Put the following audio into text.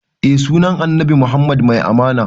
Eh sunan annabi muhammad mai amana